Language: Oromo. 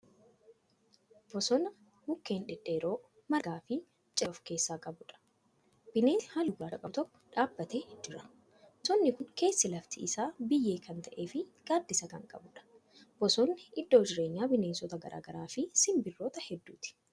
Bosona mukkeen dhedheeroo margaafi miciree of keessaa qabuudha. bineensi halluu gurraacha qabu tokko dhaabatee jira. bosonni Kuni keessi lafti Isaa biyyee Kan ta'eefi gaaddisa Kan qabuudha. bosonni iddoo jireenyaa bineensota gargaraafi sinbirroota hedduuti.